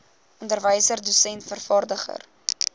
onderwyser dosent vervaardiger